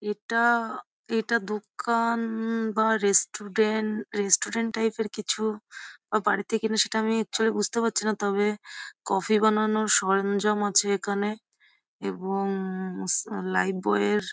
এটা এটা দোকান বা রেস্টুডেন্ট রেস্টুডেন্ট টাইপ -এর কিছু অ বাড়িতে কিনা সেটা আমি একচুয়ালী বুজতে পারছি না তবে কফি বানানোর সরঞ্জাম আছে এখানে। এবং অ লাইফবই এর--